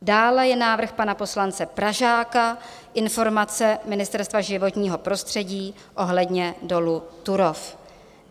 Dále je návrh pana poslance Pražáka - Informace Ministerstva životního prostředí ohledně dolu Turów.